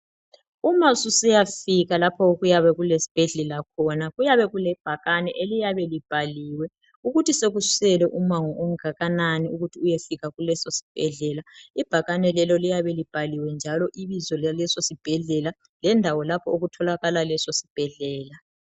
Uma susiyafika lapho okuyabe kulesibhedlela khona kuyabe kule bhakani eliyabe libhaliwe ukuthi sekusele umango ongakanani ukuthi uyefika kuleso sibhedlela ibhakani lelo liyabe libhaliwe njalo ibizo laleso sibhedlela lendawo lapho okutholakala leso sibhedlela.